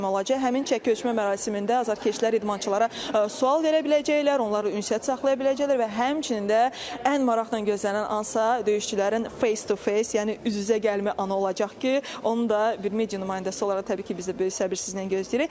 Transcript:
Həmin çəki ölçmə mərasimində azərkeşlər idmançılara sual verə biləcəklər, onlarla ünsiyyət saxlaya biləcəklər və həmçinin də ən maraqla gözlənilən ansa döyüşçülərin face-to-face, yəni üz-üzə gəlmə anı olacaq ki, onu da bir media nümayəndəsi olaraq təbii ki, biz də böyük səbirsizlə gözləyirik.